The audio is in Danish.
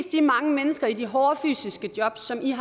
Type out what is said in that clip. de mange mennesker i de hårde fysiske jobs som de